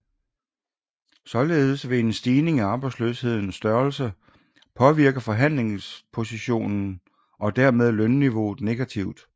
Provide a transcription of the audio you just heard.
Således vil en stigning i arbejdsløsheden størrelse påvirke forhandlingspositionen og dermed lønniveauet negativt